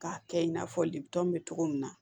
K'a kɛ i n'a fɔ lepi bɛ cogo min na